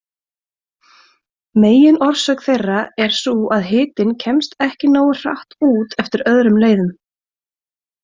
Meginorsök þeirra er sú að hitinn kemst ekki nógu hratt út eftir öðrum leiðum.